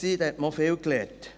da hat man auch viel gelernt.